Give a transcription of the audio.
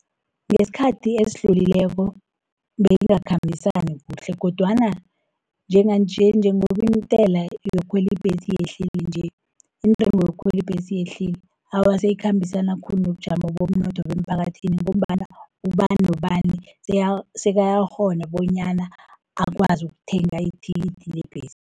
Ngesikhathi esidlulileko, beyingakhambisani kuhle, kodwana njenganje njengobintela yokukhweli ibhesi iyehleli nje, Intengo yokukhweli ibhesi iyehlile, awa siyikhambisana khulu nobujamo bomnotho bemphakathini, ngombana ubani nobani sekayakghona bonyana akwazi ukuthenga ithikithi lebhesi.